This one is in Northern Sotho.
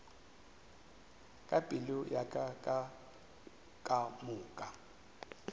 ka pelo ya ka kamoka